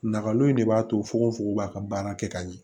Nakalo in de b'a to fogofogo b'a ka baara kɛ ka ɲɛ